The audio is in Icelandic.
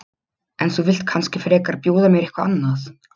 En þú vilt kannski frekar bjóða mér eitthvað annað?